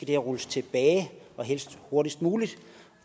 her rulles tilbage og helst hurtigst muligt